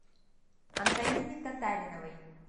антонине татариновой